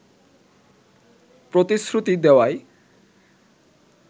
প্রতিশ্রুতি দেওয়ায়